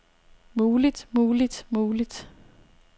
muligt muligt muligt